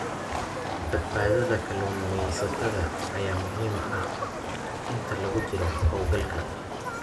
Badbaadada kalluumaysatada ayaa muhiim ah inta lagu jiro hawlgalka.